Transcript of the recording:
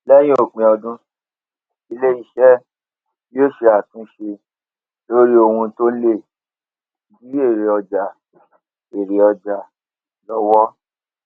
léyìn òpin ọdún ilé iṣé yóò ṣe àtúnṣe lórí ohun tó lè dí èrè ọjà èrè ọjà lówó